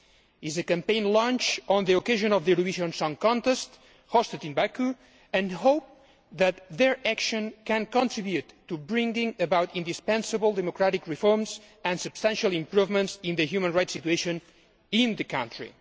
It is a campaign launched on the occasion of the Eurovision Song Contest hosted in Baku and they hope that their action can contribute to bringing about indispensable democratic reforms and substantial improvements in the human rights situation in the country.